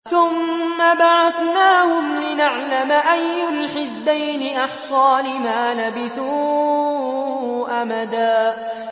ثُمَّ بَعَثْنَاهُمْ لِنَعْلَمَ أَيُّ الْحِزْبَيْنِ أَحْصَىٰ لِمَا لَبِثُوا أَمَدًا